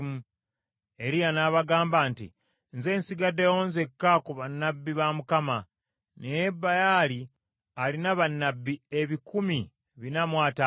Eriya n’abagamba nti, “Nze nsigaddewo nzekka ku bannabbi ba Mukama , naye Baali alina bannabbi ebikumi bina mu ataano.